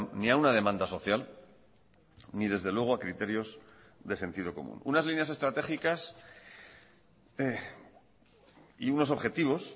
ni a una demanda social ni desde luego a criterios de sentido común unas líneas estratégicas y unos objetivos